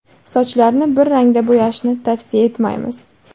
Sochlarni bir rangda bo‘yashni tavsiya etmaymiz.